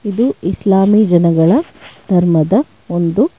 ಇದು ಇಸ್ಲಾಮಿ ಜನಗಳ ಧರ್ಮದ ಒಂದು.